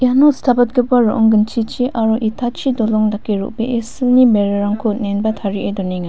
uno stapatgipa ro·ong ginchichi aro itachi dolong dake ro·bee silni berarangko on·enba tarie donenga.